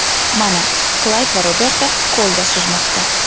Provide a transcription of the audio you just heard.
Mana Klayd va Roberta ko‘lda suzmoqda.